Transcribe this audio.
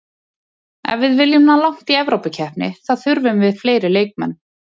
Ef við viljum ná langt í Evrópukeppni þá þurfum við fleiri leikmenn.